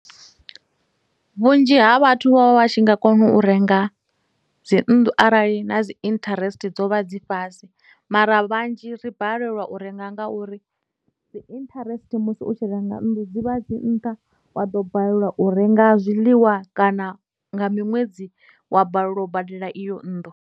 Vhunzhi ha vhathu vha vha vha tshi nga kona u renga dzi nnḓu arali na dzi interest dzo vha dzi fhasi mara vhanzhi ri balelwa u renga nga uri dzi interest musi u tshi renga nnḓu dzivha dzi nṱha wa ḓo balelwa u renga zwiḽiwa kana nga miṅwedzi wa balelwa u badela iyo nnḓu.